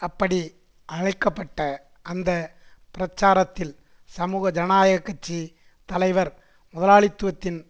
அப்படி அழைக்க பட்ட அந்த பிரச்சாரத்தில் சமூக ஜனநாயக கட்சி தலைவர்முதலாளித்துவத்தின்